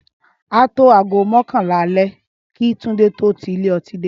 Á tó aago mọ́kànlá alẹ́ kí Tunde tó ti ilé ọtí dé